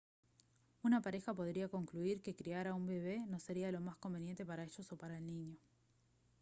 una pareja podría concluir que criar a un bebé no sería lo más conveniente para ellos o para el niño